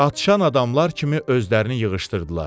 Atşan adamlar kimi özlərini yığışdırdılar.